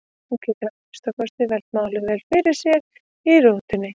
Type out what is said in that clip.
Hún getur að minnsta kosti velt málunum vel fyrir sér í rútunni.